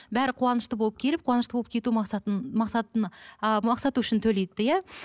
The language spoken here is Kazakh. бәрі қуанышты болып келіп қуанышты болып кету мақсатын мақсатына а мақсаты үшін төлейді иә